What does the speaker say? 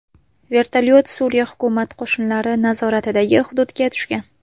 Vertolyot Suriya hukumat qo‘shinlari nazoratidagi hududga tushgan.